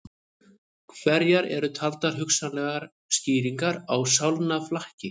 Hverjar eru taldar hugsanlegar skýringar á sálnaflakki?